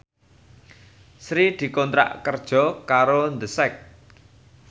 Sri dikontrak kerja karo The Sak